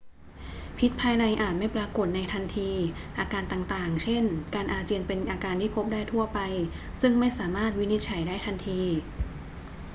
พิษภายในอาจไม่ปรากฏในทันที อาการต่าง ๆ เช่น การอาเจียนเป็นอาการที่พบได้ทั่วไปซึ่งไม่สามารถวินิจฉัยได้ทันที